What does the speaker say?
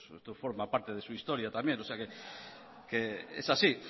esto forma parte de su historia también o sea que es así